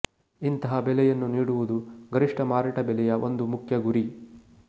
ಇಂತಹ ಬೆಲೆಯನ್ನು ನೀಡುವುದು ಗರಿಷ್ಟ ಮಾರಾಟ ಬೆಲೆಯ ಒಂದು ಮುಖ್ಯ ಗುರಿ